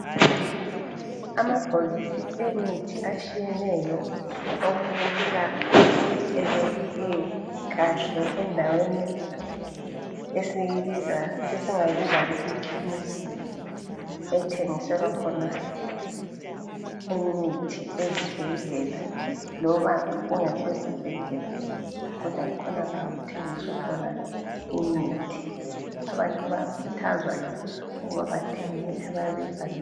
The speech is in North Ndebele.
Amabhokisi emithi atshiyeneyo okwelapha okubukeka ebekwe kahle endaweni esingayibiza ngokuthi yikhemesi ethengiselwa khona imithi ezibhedlela loba kungasosibhedlela kodwa kukhonala okuthengiswa khona imithi. Abantu bayakhuthazwa ukuba bathenge imithi abayabe beyibhalelwe.